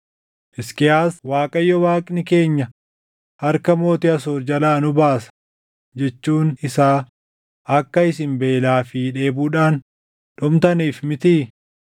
Hisqiyaas, ‘ Waaqayyo Waaqni keenya harka mootii Asoor jalaa nu baasa’ jechuun isaa akka isin beelaa fi dheebuudhaan dhumtaniif mitii?